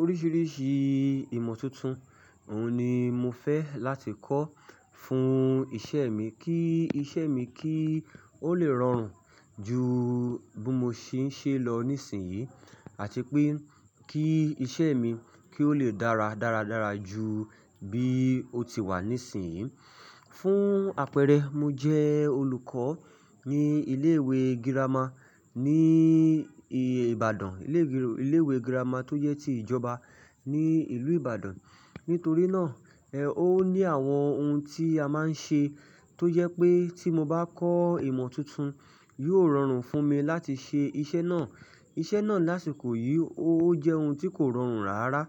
Oríṣìíríṣìí ìmọ̀ tuntun, òun ni mo fẹ́ láti kọ́ fún iṣẹ́ mi kí iṣẹ́ mi kí ó lè rọrùn ju bí mo ṣì ń ṣe lọ níìsín yìí àti pé kí iṣẹ́ mi kí ó lè dára dáradára ju bí ó ti wà níìsín yìí. Fún àpẹẹrẹ, mo jẹ́ olùkọ́ ní ilé ìwé girama ní Ìbàdàn, ilé ìwé ilé ìwé girama tó jẹ́ ti ìjọba ní ìlú Ìbàdàn. Nítorí náà, ẹ ó ní àwọn ohun tí a máa ń ṣe tó jẹ́ pé tí mo bá kọ́ ìmọ̀ tuntun, yóò rọrùn fún mi láti ṣe iṣẹ́ náà. Iṣẹ́ náà lásìkò yìí ó jẹ́ ohun tí kò rọrùn rárá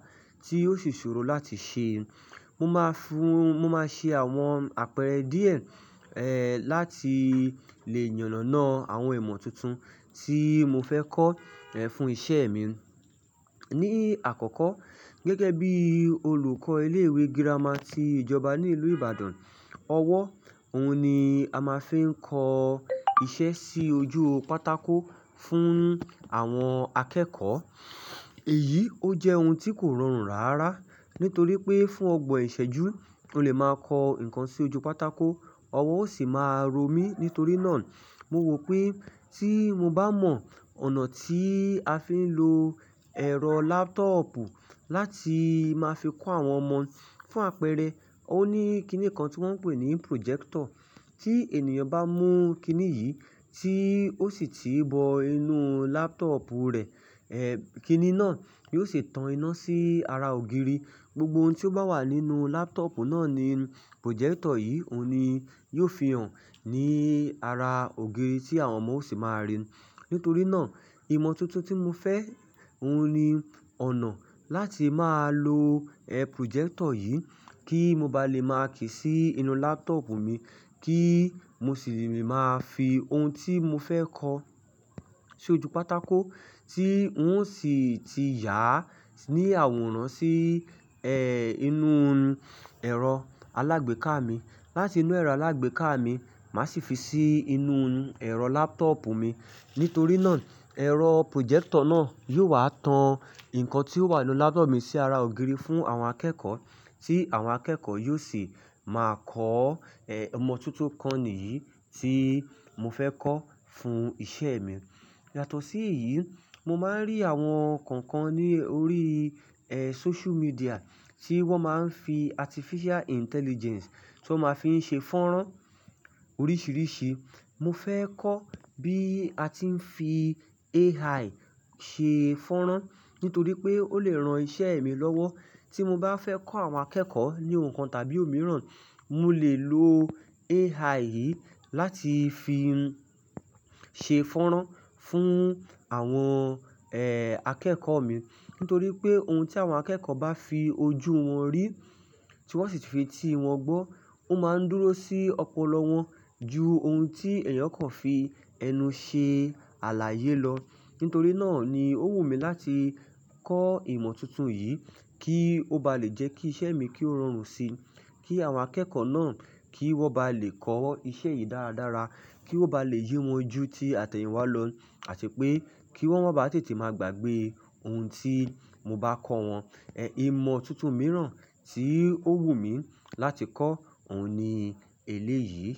tí ó sì ṣòro láti ṣe. Mo máa fún-- mo máa ṣe àwọn àpẹẹrẹ díẹ̀, ẹ́, láti lè yànànà àwọn ìmọ̀ tuntun tí mo fẹ́ kọ́, ẹ́, fún iṣẹ́ mi. Ní àkọ́kọ́, gẹ́gẹ́ bí olùkọ́ ilé ìwé girama ti ìjọba ní ìlú Ìbàdàn, ọwọ́ òun ni a máa fi ń kọ iṣẹ́ sí ojú pátákó fún àwọn akẹ́kọ̀ọ́. Èyí ó jẹ́ ohun tí kò rọrùn rárá, nítorí pé fún ọgbọ̀n ìṣẹ́jú o lè máa kọ nǹkan sí ojú pátákó, ọwọ́ ó sì máa ro mí. Nítorí náà, mo rò pé tí mo bá mọ ọ̀nà tí a fi ń lo ẹ̀rọ laptop láti máa fi kọ́ àwọn ọmọ. Fún àpẹẹrẹ, ó ní kíní kan tí wọ́n ń pè ní projector. Tí ènìyàn bá mú kíní yìí tí ó sì ti bọ inú laptop rẹ̀, ẹ́, kíní náà yóò sì tan iná sí ara ògiri. Gbogbo ohun tí ó bá wà nínú laptop náà ni projector yìí òun ni yóò fi hàn ní ara ògiri tí àwọn ọmọ ó sì máa ríi. Nítorí náà, ìmọ̀ tuntun tí mo fẹ́, òun ni ọ̀nà láti máa lo, ẹ́, projector yìí kí mo ba lè máa kí sí inú laptop mi kí mo sì lè máa fi ohun tí mo fẹ́ kọ́ sí ojú pátákó tí ó sì ti yà ní àwòrán sí, ẹ́, inú ẹ̀rọ alágbèéká mi. Láti inú ẹ̀rọ alágbèéká mi, màá sì fi sí inú ẹ̀rọ laptop mi. Nítorí náà, ẹ̀rọ projector náà yóò wá tan nǹkan tí ó wà nínú laptop mi sí ara ògiri fún àwọn akẹ́kọ̀ọ́ tí àwọn akẹ́kọ̀ọ́ yóò sì máa kọ́, ẹ́, ìmọ̀ tuntun kan nìyí tí mo fẹ́ kọ́ fún iṣẹ́ mi. Yàtọ̀ sí èyí, mo máa ń rí àwọn kọ̀ọ̀kan ní orí, ẹ́, social media tí wọ́n máa ń fi artificial intelligence tí wọ́n máa fi ń ṣe fọ́n rán oríṣìíríṣìí. Mo fẹ́ kọ́ bí a ti ń fi AI ṣe fọ́nrán nítorí pé ó lè ran iṣẹ́ mi lọ́wọ́. Tí mo bá fẹ́ kọ́ àwọn akẹ́kọ̀ọ́ ní ohun kan tàbí òmíràn, mo lè lo AI yìí láti fi ṣe fọ́nrán fún àwọn, ẹ́, akẹ́kọ̀ọ́ mi. Nítorí pé ohun tí àwọn akẹ́kọ̀ọ́ bá fi ojú wọn rí tí wọ́n sì fi tí wọn gbọ́, ó máa ń dúró sí ọpọlọ wọn ju ohun tí ènìyàn kan fi ẹnu ṣe àlàyé lọ. Nítorí náà ni ó wù mí láti kọ́ ìmọ̀ tuntun yìí kí ó ba lè jẹ́ kí iṣẹ́ mi kí ó rọrùn síi, kí àwọn akẹ́kọ̀ọ́ náà kí wọ́n ba lè kọ́ iṣẹ́ yìí dáradára, kí ó ba lè yé wọn jú tí àtẹ̀yìnwá lọ àti pé kí wọ́n báa tètè máa gbàgbé ohun tí mo bá kọ́ wọn. Ẹ̀, ìmọ̀ tuntun mìíràn tí ó wù mí láti kọ́ òun ni eléyìí.